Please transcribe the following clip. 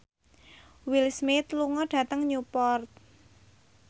Will Smith lunga dhateng Newport